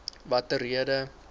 watter rede